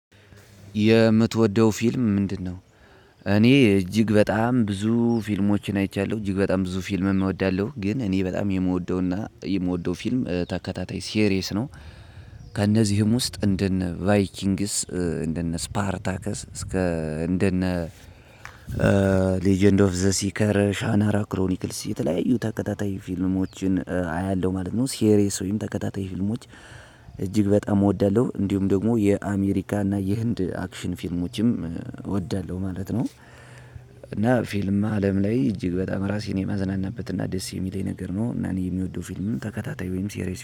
የምትወደው ፊልም ምንድነው? እኔ እጅግ በጣም ብዙ ፊልሞችን አይቻለሁ። እጅግ በጣም ብዙ ፊልም እወዳለሁ ግን እኔ በጣም የምወደውና የምወደው ፊልም ተከታታይ ሲሪየስ ነው። ከእነዚህም ውስጥ እንደነ ቫይኪንግስ እንደነ ስፓርታከስ እስከ እንደነ ሌጀንድ ኦፍ ዘ ሲከር ሻናራ ክሮኒክስ የተለያዩ ተከታታይ ፊልሞችን አያለሁ ማለት ነው ሲሪየስ ወይም ተከታታይ ፊልሞች እጅግ በጣም እወዳለሁ እንዲሁም ደግሞ የአሜሪካ እና የህንድ አክሽን ፊልሞችም እወዳለሁ ማለት ነው እና ፊልም አለም ላይ እጅግ በጣም ራሴን የማዝናናበት እና ደስ የሚለኝ ነገር ነው እና እኔ የሚወደው ፊልም ተከታታይ ወይም ሴሪየስ